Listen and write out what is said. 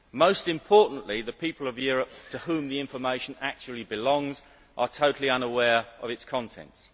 Most importantly, the people of Europe, to whom the information actually belongs, are totally unaware of its contents.